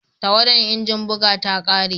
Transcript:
Tawadan injin buga ta kare